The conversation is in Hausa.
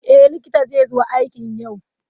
Eh likita zai zo aiki yau.